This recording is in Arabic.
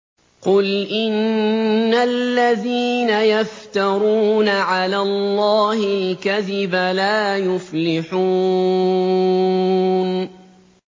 قُلْ إِنَّ الَّذِينَ يَفْتَرُونَ عَلَى اللَّهِ الْكَذِبَ لَا يُفْلِحُونَ